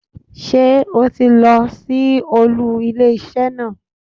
Sé o ti lọ sí olú ilé isé naa